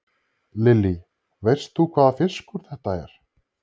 Lillý: Veist þú hvaða fiskur þetta er?